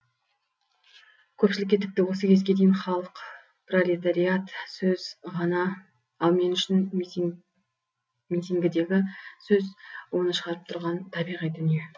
көпшілікке тіпті осы кезге дейін халық пролетариат сөз ғана ал мен үшін митингідегі сөз оны шығарып тұрған табиғи дүние